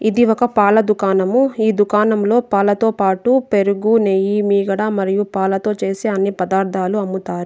ఇది ఒక పాల దుకాణము. ఈ దుకాణంలో పాలతో పాటు పెరుగు నెయ్యి మీగడ మరియు పాలతో చేసే అన్ని పదార్థాలు అమ్ముతారు.